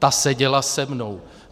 Ta seděla se mnou.